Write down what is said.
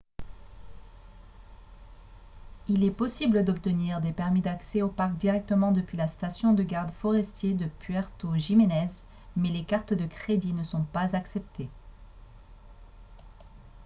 il est possible d'obtenir des permis d'accès au parc directement depuis la station de gardes forestiers de puerto jiménez mais les cartes de crédit ne sont pas acceptées